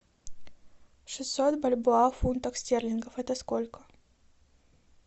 шестьсот бальбоа в фунтах стерлингов это сколько